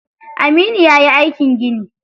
Aminu yayi aikin gini.